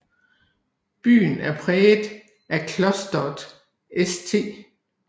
Byen er præget af Klosteret St